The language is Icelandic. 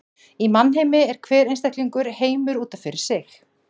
Í mannheimi er hver einstaklingur heimur út af fyrir sig.